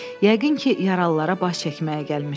Yəqin ki, yaralılara baş çəkməyə gəlmişdi.